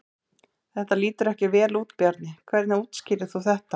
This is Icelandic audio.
Þetta lítur ekki vel út Bjarni, hvernig útskýrir þú þetta?